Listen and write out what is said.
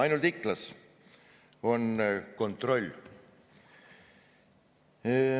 Ainult Iklas on kontroll.